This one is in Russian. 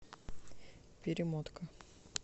перемотка